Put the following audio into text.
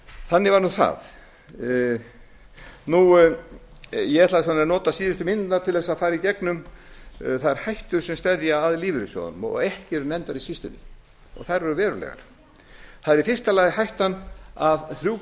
þannig var það ég ætla að nota síðustu mínúturnar til að fara í gegnum þær hættur sem steðja að lífeyrissjóðunum og ekki eru nefndar í skýrslunni og þær eru verulegar það er í fyrsta lagi hættan af þremur